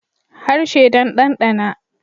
Harshe don danɗana